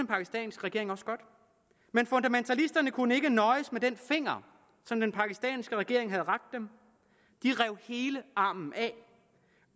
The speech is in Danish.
pakistanske regering også godt men fundamentalisterne kunne ikke nøjes med den finger som den pakistanske regering havde rakt dem de rev hele armen af